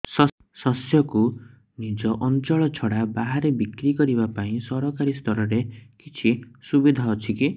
ଶସ୍ୟକୁ ନିଜ ଅଞ୍ଚଳ ଛଡା ବାହାରେ ବିକ୍ରି କରିବା ପାଇଁ ସରକାରୀ ସ୍ତରରେ କିଛି ସୁବିଧା ଅଛି କି